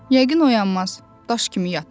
Yəqin oyanmaz, daş kimi yatır.